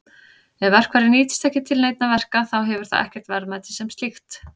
Ef verkfærið nýtist ekki til neinna verka þá hefur það ekkert verðmæti sem slíkt.